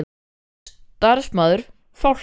Starfsmaður: Fálka?